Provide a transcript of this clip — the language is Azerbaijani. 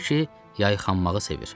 Deyir ki, yayxanmağı sevir.